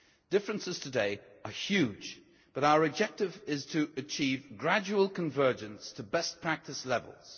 Differences today are huge, but our objective is to achieve gradual convergence to best practice levels.